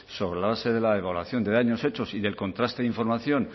sobre la base de la evaluación de daños hechos y del contraste de información